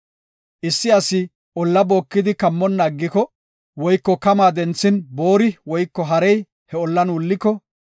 “Issi asi olla bookidi kammonna aggiko woyko kamaa denthin boori woyko harey he ollan wulliko,